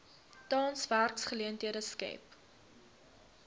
tans werksgeleenthede skep